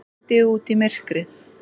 Hún rýndi út í myrkrið.